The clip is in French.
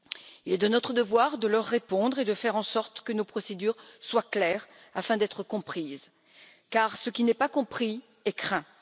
Il est de notre devoir de leur répondre et de faire en sorte que nos procédures soient claires, afin d'être comprises, car ce qui n'est pas compris est craint.